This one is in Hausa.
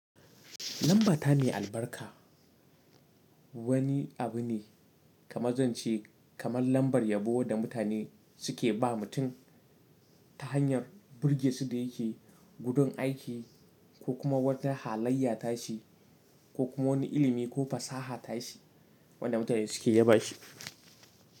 Lambata me albarka. Wani abu ne kamar zance kamar lambar yabo da mutane suke ba mutum ta hanyar birge su da yakeyi gurun aiki ko kuma wata halayya ta shi ko kuma wani ilimi ko fasaha ta shi wanda mutane suke ya ba shi.